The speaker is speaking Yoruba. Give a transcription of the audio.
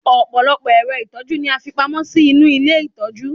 ọpọlọpọ ẹrọ itọju ni a fi pamó sí inú ilé itọju